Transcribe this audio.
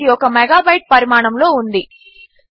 ఎందుకంటే ఇది ఒక మెగాబైట్ పరిమాణములో ఉంది